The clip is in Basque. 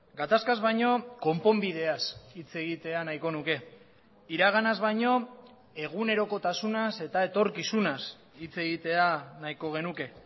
gatazkaz baino konponbideaz hitz egitea nahiko nuke iraganaz baino egunerokotasunaz eta etorkizunaz hitz egitea nahiko genuke